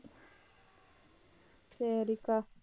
சரிக்கா.